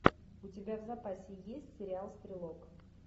у тебя в запасе есть сериал стрелок